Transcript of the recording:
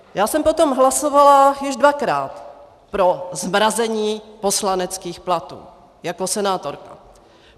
Já jsem potom hlasovala již dvakrát pro zmrazení poslaneckých platů jako senátorka.